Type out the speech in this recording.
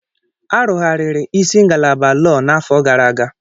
A rụgharịrị isi ngalaba lọọ n'afọ gara aga.